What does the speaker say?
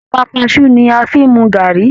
Ẹ̀pà kaṣú ni a fi mu gàárì